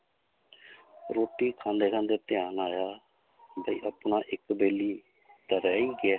ਰੋਟੀ ਖਾਂਦੇ ਖਾਂਦੇ ਧਿਆਨ ਆਇਆ ਵੀ ਆਪਣਾ ਇੱਕ ਬੈਲੀ ਤਾਂ ਰਹਿ ਹੀ ਗਿਆ ਹੈ।